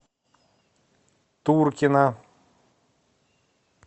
туркина